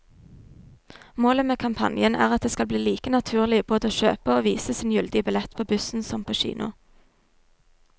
Målet med kampanjen er at det skal bli like naturlig både å kjøpe og vise sin gyldige billett på bussen som på kino.